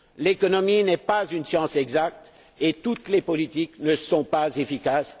L'économie n'est pas une science exacte et toutes les politiques ne sont pas efficaces.